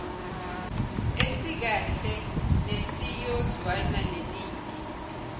esikahle nesiyozwana neningi